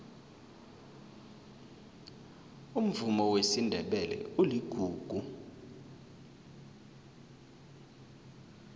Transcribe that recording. umvumo wesindebele uligugu